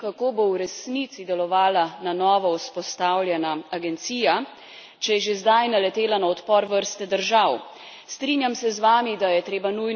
To govorim zato, ker me skrbi, kako bo v resnici delovala na novo vzpostavljena agencija, če je že zdaj naletela na odpor vrste držav.